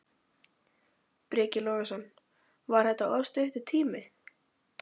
Breki Logason: Var þetta of stuttur tími?